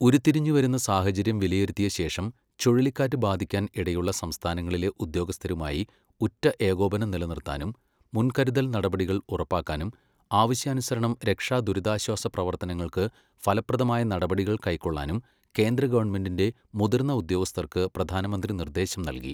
ഉരുത്തിരിഞ്ഞു വരുന്ന സാഹചര്യം വിലയിരുത്തിയശേഷം, ചുഴലിക്കാറ്റ് ബാധിക്കാൻ ഇടയുള്ള സംസ്ഥാനങ്ങളിലെ ഉദ്യോഗസ്ഥരുമായി ഉറ്റ ഏകോപനം നിലനിറുത്താനും മുൻകരുതൽ നടപടികൾ ഉറപ്പാക്കാനും, ആവശ്യാനുസരണം രക്ഷാ ദുരിതാശ്വാസ പ്രവർത്തനങ്ങൾക്ക് ഫലപ്രദമായ നടപടികൾ കൈക്കൊള്ളാനും കേന്ദ്ര ഗവണ്മെന്റിന്റെ മുതിർന്ന ഉദ്യോഗസ്ഥർക്ക് പ്രധാനമന്ത്രി നിർദ്ദേശം നൽകി.